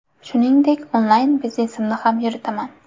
Shuningdek, onlayn biznesimni ham yuritaman.